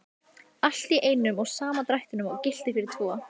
Allt í einum og sama drættinum og gilti fyrir tvo!